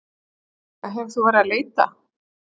Helga: Hefur þú verið að leita?